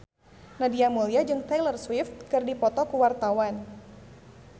Nadia Mulya jeung Taylor Swift keur dipoto ku wartawan